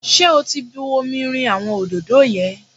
Ṣé o ti bu omi rin àwọn òdòdó yẹn?